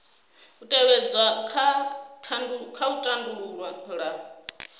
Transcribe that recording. u tevhedzwa kha u tandulula